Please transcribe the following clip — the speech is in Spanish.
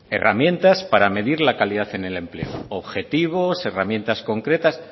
herramientas para medir la calidad en el empleo objetivos herramientas concretas